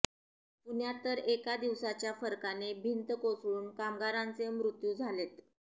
पुण्यात तर एका दिवसाच्या फरकाने भिंत कोसळून कामगारांचे मृत्यु झालेत